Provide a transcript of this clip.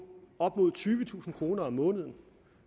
op mod tyvetusind kroner om måneden